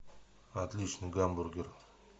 отличный гамбургер